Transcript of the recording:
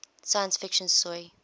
science fiction story